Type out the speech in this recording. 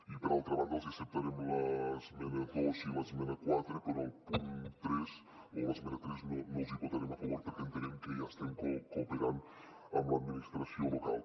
i per altra banda els acceptarem l’esmena dos i l’esmena quatre però el punt tres o l’esmena tres no els hi votarem a favor perquè entenem que ja estem cooperant amb l’administració local